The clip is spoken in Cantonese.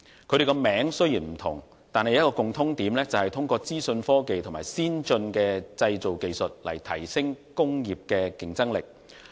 兩者名稱雖然不同，但共通點是通過資訊科技及先進的製造技術提升工業的競爭力。